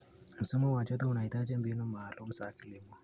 Msimu wa joto unahitaji mbinu maalum za kilimo.